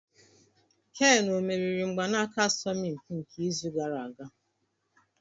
Kane ọ meriri mgbanaka asọmpi nke izu gara aga?